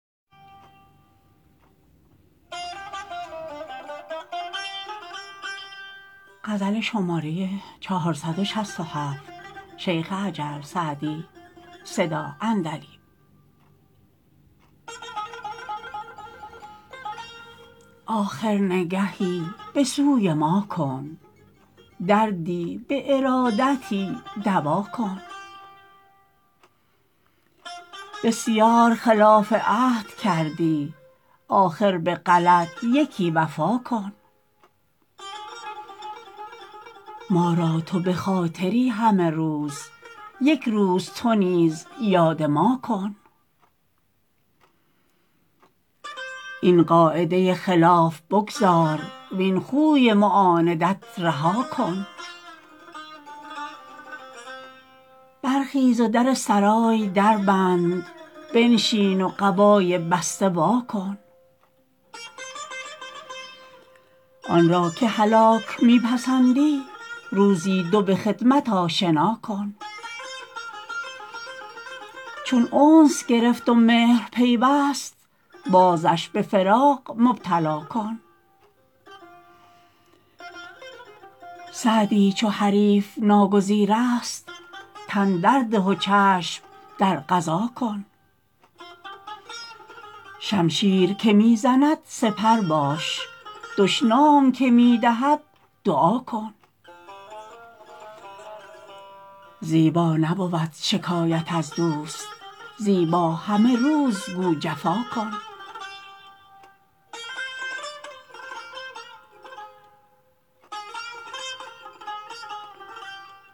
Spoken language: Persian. آخر نگهی به سوی ما کن دردی به ارادتی دوا کن بسیار خلاف عهد کردی آخر به غلط یکی وفا کن ما را تو به خاطری همه روز یک روز تو نیز یاد ما کن این قاعده خلاف بگذار وین خوی معاندت رها کن برخیز و در سرای در بند بنشین و قبای بسته وا کن آن را که هلاک می پسندی روزی دو به خدمت آشنا کن چون انس گرفت و مهر پیوست بازش به فراق مبتلا کن سعدی چو حریف ناگزیر است تن در ده و چشم در قضا کن شمشیر که می زند سپر باش دشنام که می دهد دعا کن زیبا نبود شکایت از دوست زیبا همه روز گو جفا کن